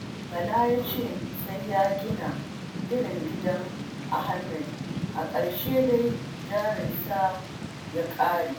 Bala ya ce sai ya gina irin gidan Ahamad, a ƙarshe dai jarinsa ya karye.